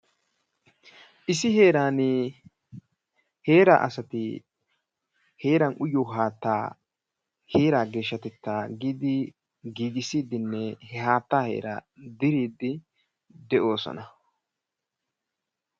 Issi heeran heera asati heera uyyiyo haata, heeraa geeshshatetta giidi giigissidinne he haatta heera diriddi de'oosona.